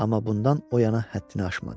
Amma bundan o yana həddini aşmadı.